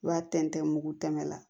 I b'a tɛntɛn mugu tɛmɛ na